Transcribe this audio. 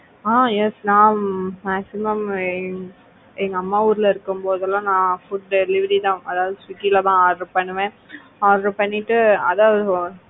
ஆஹ் yes நான் maximum எங்க அம்மா ஊர்ல இருக்கும்போதெல்லாம் நான் food delivery தான் அதாவது swiggy லதான் order பண்ணுவேன். order பண்ணிட்டு,